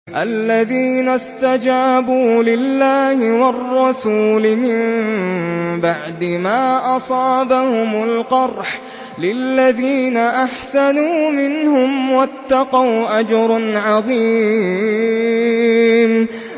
الَّذِينَ اسْتَجَابُوا لِلَّهِ وَالرَّسُولِ مِن بَعْدِ مَا أَصَابَهُمُ الْقَرْحُ ۚ لِلَّذِينَ أَحْسَنُوا مِنْهُمْ وَاتَّقَوْا أَجْرٌ عَظِيمٌ